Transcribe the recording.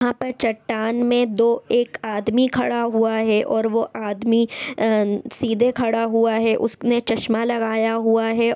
यहां पर चट्टान में दो एक आदमी खड़ा हुआ है और वो आदमी अ सीधे खड़ा हुआ है उसने चश्मा लगाया हुआ है।